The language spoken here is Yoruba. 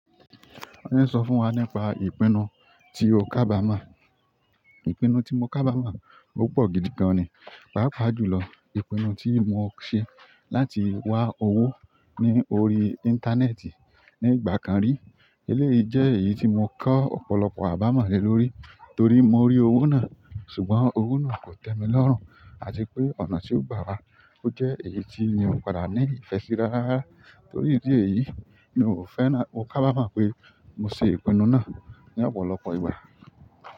Wọ́n ní sọ fún wa nípa ìpinnu tí o kábàámà. Ìpinnu tí mo kábàmọ̀ ó pọ̀ gidi gan ni papa jù lọ ìpinnu tí mo ṣe láti wá owó lórí interneti ní ìgbà kan rí eleyi jẹ́ èyí tímọ́ kó ọ̀pọ̀lọpọ̀ abamo lé lórí torí mo rí owó náà ṣùgbọ́n owó náà kò tèmi lo run àti pé ọ̀nà tí o gba wa ó jẹ́ èyí tí mi ò padà ní ìfẹ́ sí rárárárá. Torí ìdí eyìí mi ò fẹ́rán-- mo kábàámà pé mo ṣe ìpinnu náà ní ọ̀pọ̀lọpọ̀ ìgbà.